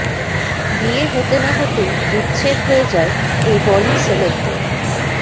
বিয়ে হতে না হতেই বিচ্ছেদ হয়ে যায় এই বলি সেলেবদের